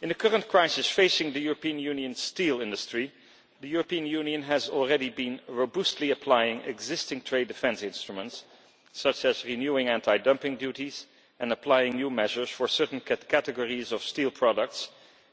In the current crisis facing the European Union's steel industry, the European Union has already been robustly applying existing trade defence instruments, such as renewing anti dumping duties and applying new measures for certain categories of steel products,